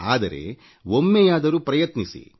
ಆದರೆ ಒಮ್ಮೆಯಾದರೂ ಪ್ರಯತ್ನಿಸಿ